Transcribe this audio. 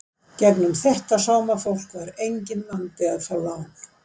gegnum þetta sómafólk var enginn vandi að fá lán.